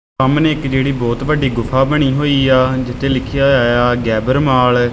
ਸਾਹਮਣੇ ਇੱਕ ਜਿਹੜੀ ਬਹੁਤ ਵੱਡੀ ਗੁਫ਼ਾ ਬਣੀ ਹੋਈ ਆ ਜਿੱਥੇ ਲਿੱਖਿਆ ਹੋਇਆ ਏ ਆ ਗ਼ੈਬਰ ਮਾਲ ।